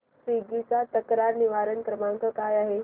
Swiggy चा तक्रार निवारण क्रमांक काय आहे